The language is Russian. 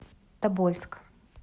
тобольск